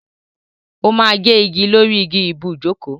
O ma gé igi lórí igi ibùjókòó.